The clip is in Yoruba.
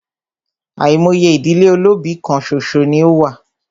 Àìmọye ìdílé olóbì kán ṣoṣo ní o wà.